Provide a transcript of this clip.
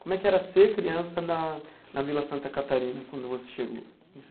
Como é que era ser criança na na Vila Santa Catarina quando você chegou?